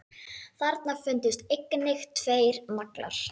Þarna fundust einnig tveir naglar.